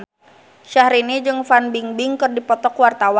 Syahrini jeung Fan Bingbing keur dipoto ku wartawan